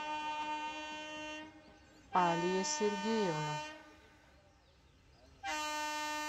алия сергеевна